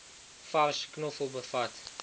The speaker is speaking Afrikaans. vars knoffel bevat